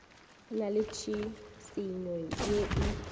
na le tšhišinyo ye e